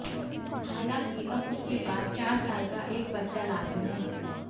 हालांकि अब उसके पास चार साल का एक बच्चा लॉसन है